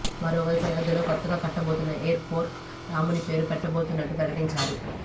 మరోవైపు అయోధ్యలో కొత్తగా కట్టబోతున్న ఎయిర్ పోర్ట్కు రాముని పేరు పెట్టబోతున్నట్టు ప్రకటించారు